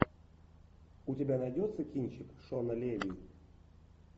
у тебя найдется кинчик шона леви